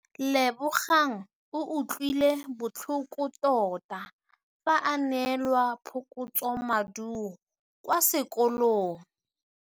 Lebogang o utlwile botlhoko tota fa a neelwa phokotsômaduô kwa sekolong.